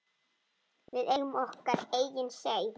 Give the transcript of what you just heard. Við eigum okkar eigin Seif.